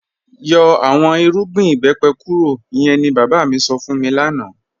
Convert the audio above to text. Yọ̀ awọn ìrùgbìn ìbẹ́pẹ̀ kúrò, ìyẹ̀n ni baba mi sọ́ fún mi lánà